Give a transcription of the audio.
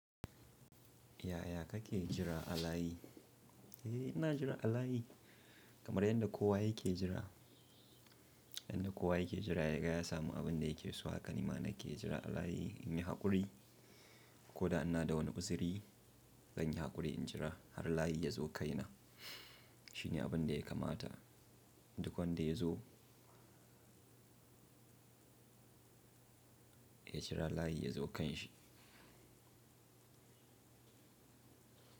Ya ya kake jira alayi? Eh ina jira alayi kamar yadda kowa yake jira, yadda kowa yake jira ya gaya samu abin da yake so haka nima nake jira alayi in yi haƙuri ko da ina da wani busiiri zan yi haƙuri in jira har layi ya zo kai na. Shi ne abin da ya kamata duk wanda ya zo ya jira layi ya zo kan shi.